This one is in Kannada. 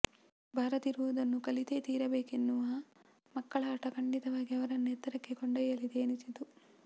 ಬಾರದಿರುವುದನ್ನು ಕಲಿತೇ ತೀರಬೇಕೆನ್ನುವ ಮಕ್ಕಳ ಹಟ ಖಂಡಿತವಾಗಿ ಅವರನ್ನು ಎತ್ತರಕ್ಕೆ ಕೊಂಡೊಯ್ಯಲಿದೆ ಎನಿಸಿತು